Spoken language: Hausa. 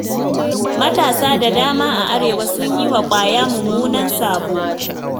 Matasa da dama a Arewa sun yi wa ƙwaya mummunan sabo.